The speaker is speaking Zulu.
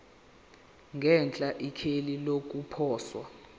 ngenhla ikheli lokuposa